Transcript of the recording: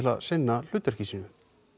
að sinna hlutverki sínu